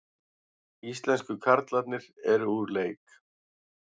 Íslensku karlarnir eru úr leik